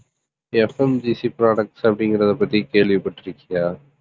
FMGC products அப்படிங்கறதைப் பத்தி கேள்விப்பட்டிருக்கியா